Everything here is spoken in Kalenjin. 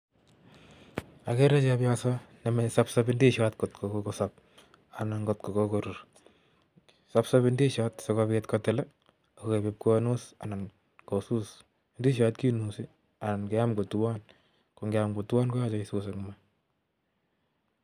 agere chpyosos nesopsosi ndisiot ngotko kokosop anan ngotkokokorur. sapsabi ndisiot sikopit kotil sigoip ipkonus anan kosus ndisiot kinusi anan keam kotuon. angiam kotuan koyachei iam kotuon koyachei isus eng maa.